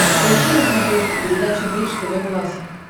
поищи на смотрешке передачу бридж тв классик